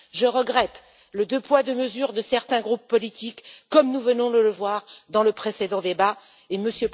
Je regrette le deux poids, deux mesures pratiqué par certains groupes politiques, comme nous venons de le voir dans le précédent débat, et M.